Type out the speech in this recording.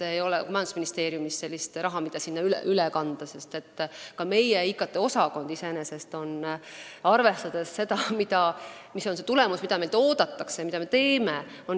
Ei ole majandusministeeriumis sellist raha, mida sinna üle kanda, sest ka meie IKT-osakond on iseenesest ikkagi väga õbluke ja väike, kui arvestada, millist tulemust meilt oodatakse ja mida me teeme.